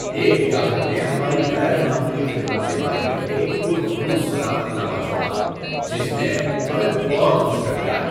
ایک گاہک نے ہماری غیر معمولی خدمت کے بارے میں ایک پر خلوص صداقت نامہ چھوڑا جس نے ہمیں بہت خوش کر دیا۔